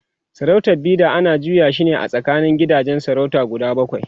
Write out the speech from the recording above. sarautar Bida ana juya shine a tsakanin gidajen sarautar guda bakwai